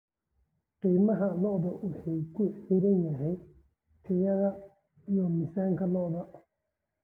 Qiimaha lo'du wuxuu ku xiran yahay tayada iyo miisaanka lo'da.